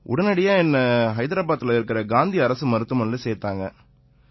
உடனடியா என்னை ஹைதராபாதில இருக்கற காந்தி அரசு மருத்துவமனையில சேர்த்தாங்க